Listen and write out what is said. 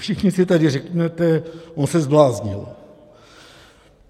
Všichni si tady řeknete: On se zbláznil!